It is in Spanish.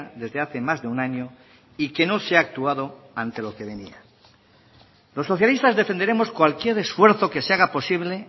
desde hace más de un año y que no se ha actuado ante lo que venía los socialistas defenderemos cualquier esfuerzo que se haga posible